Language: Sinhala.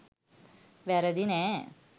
වැරදි නැහැ.